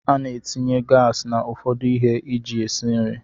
Ana etinye gas na ụfọdụ ihe eji esi nri.